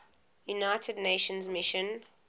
united nations mission